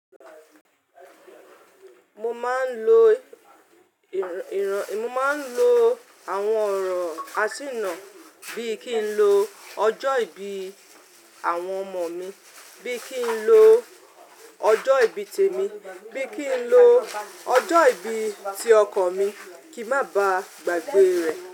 Mo máa ń lo àwọn ọ̀rọ̀ àṣìná bí i kí n lo ọjọ́ ìbí, àwọn ọmọ mi, bí i kí n lo ọjọ́ ìbí tèmi, bí i kí n lo ọjọ́ ìbí ti ọkọ mi kí má ba gbàgbé rẹ̀